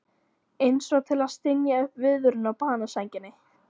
Einsog til að stynja upp viðvörun á banasænginni.